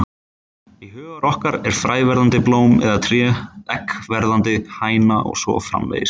Í huga okkar er fræ verðandi blóm eða tré, egg verðandi hæna og svo framvegis.